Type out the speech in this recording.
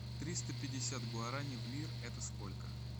триста пятьдесят гуарани в лир это сколько